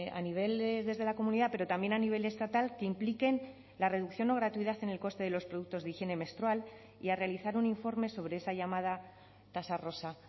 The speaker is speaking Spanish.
a nivel desde la comunidad pero también a nivel estatal que impliquen la reducción o gratuidad en el coste de los productos de higiene menstrual y a realizar un informe sobre esa llamada tasa rosa